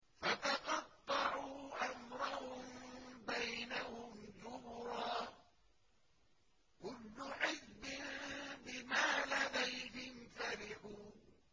فَتَقَطَّعُوا أَمْرَهُم بَيْنَهُمْ زُبُرًا ۖ كُلُّ حِزْبٍ بِمَا لَدَيْهِمْ فَرِحُونَ